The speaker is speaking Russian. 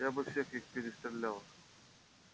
я бы всех их перестреляла